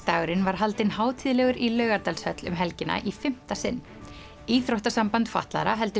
dagurinn var haldinn hátíðlegur í Laugardalshöll um helgina í fimmta sinn íþróttasamband fatlaðra heldur